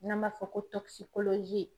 N'an b'a fɔ ko